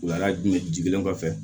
Wuladai kelen kɔfɛ